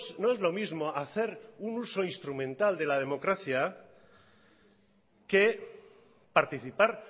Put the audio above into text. no es lo mismo hacer un uso instrumental de la democracia que participar